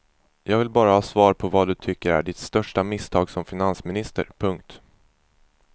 Jag vill bara ha svar på vad du tycker är ditt största misstag som finansminister. punkt